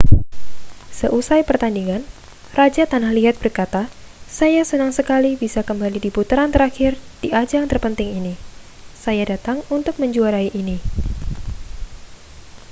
seusai pertandingan raja tanah liat berkata saya senang sekali bisa kembali di putaran terakhir di ajang terpenting ini saya datang untuk menjuarai ini